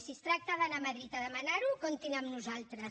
si es tracta d’anar a madrid a demanar ho comptin amb nosaltres